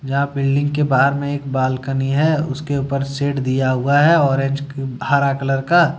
यहां बिल्डिंग के बाहर में एक बालकनी है उसके ऊपर शेड दिया हुआ है और एच हरा कलर का।